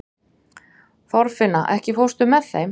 Þorfinna, ekki fórstu með þeim?